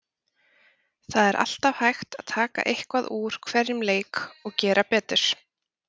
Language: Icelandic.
Það er alltaf hægt að taka eitthvað úr hverjum leik og gera betur.